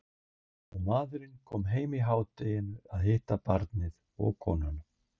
Og maðurinn kom heim í hádeginu að hitta barnið og konuna.